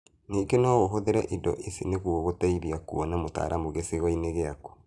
Ningĩ no ũhũthĩre indo ici nĩguo gũteithia kuona mũtaramu gĩcigo-inĩ gĩaku